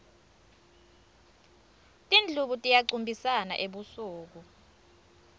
tindlubu tiyacumbisana ebusuku